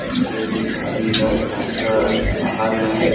इस पे लिखा भी है टाइटन बाहर में--